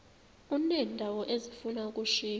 uneendawo ezifuna ukushiywa